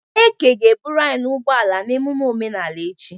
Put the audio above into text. Eke ga-eburu anyi n'ụgbọ ala na emume omenala echi.